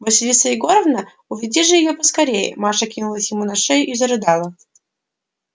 василиса егоровна уведи же её поскорее маша кинулась ему на шею и зарыдала